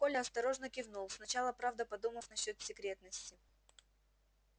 коля осторожно кивнул сначала правда подумав насчёт секретности